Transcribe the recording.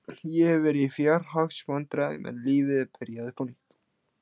Ég hef verið í fjárhagsvandræðum en lífið er byrjað upp á nýtt.